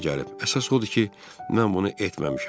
Əsas odur ki, mən bunu etməmişəm.